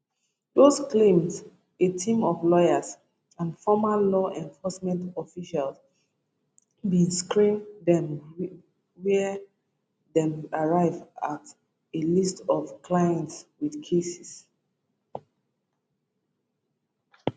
dose claims a team of lawyers and former law enforcement officials bin screen dem wia dem arrive at a list of clients wit cases